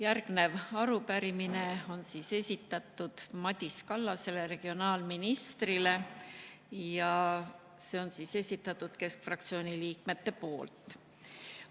Järgnev arupärimine on esitatud Madis Kallasele, regionaalministrile, ja see on esitatud keskfraktsiooni liikmete poolt.